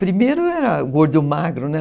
Primeiro era o Gordo e o Magro, né?